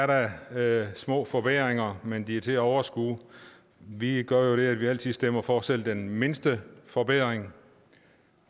der da er små forbedringer men de er til at overskue vi gør jo det at vi altid stemmer for selv den mindste forbedring